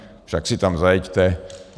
Však si tam zajeďte.